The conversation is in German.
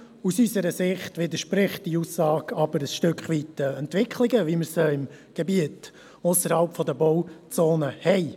Allerdings entspricht diese Aussage ein Stück weit der Entwicklung, wie sie im Gebiet ausserhalb der Bauzone besteht.